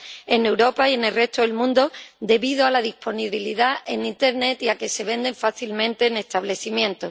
en Europa y en el resto del mundo debido a su disponibilidad en Internet y a que se venden fácilmente en establecimientos.